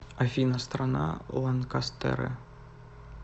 афина страна ланкастеры